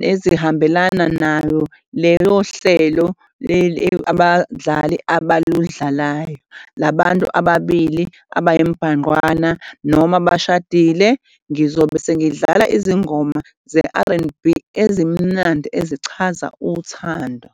nezihambelana nayo leyo hlelo leli abadlali abalidlalayo la bantu ababili abayimbanqwana noma abashadile. Ngizobe sengidlala izingoma ze-R_N_B ezimnandi ezichaza, uthando.